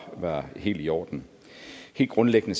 helt i orden helt grundlæggende